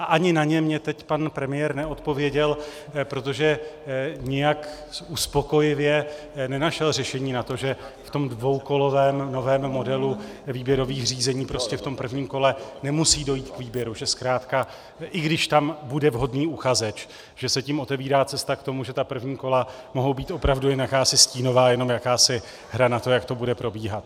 A ani na ně mně teď pan premiér neodpověděl, protože nijak uspokojivě nenašel řešení na to, že v tom dvoukolovém novém modelu výběrových řízení prostě v tom prvním kole nemusí dojít k výběru, že zkrátka i když tam bude vhodný uchazeč, že se tím otevírá cesta k tomu, že ta první kola mohou být opravdu jen jakási stínová, jenom jakási hra na to, jak to bude probíhat.